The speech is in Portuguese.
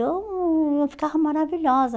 Eu eu ficava maravilhosa.